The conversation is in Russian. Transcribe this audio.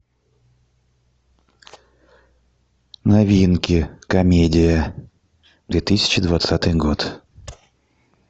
новинки комедия две тысячи двадцатый год